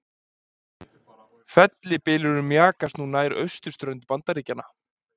Fellibylurinn mjakast nú nær austurströnd Bandaríkjanna